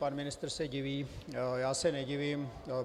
Pan ministr se diví, já se nedivím.